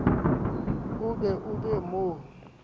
oo o be o mo